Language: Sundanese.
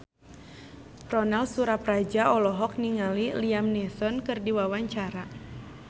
Ronal Surapradja olohok ningali Liam Neeson keur diwawancara